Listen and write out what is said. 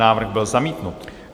Návrh byl zamítnut.